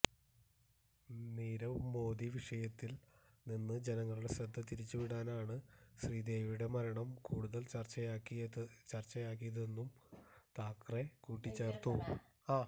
നീരവ് മോദി വിഷയത്തില് നിന്ന് ജനങ്ങളുടെ ശ്രദ്ധ തിരിച്ചുവിടാനാണ് ശ്രീദേവിയുടെ മരണം കൂടുതല് ചര്ച്ചയാക്കിയതെന്നും താക്കറെ കൂട്ടിച്ചേര്ത്തു